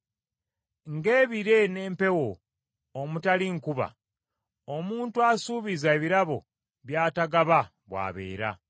Ng’ebire n’empewo omutali nkuba, omuntu asuubiza ebirabo by’atagaba bw’abeera.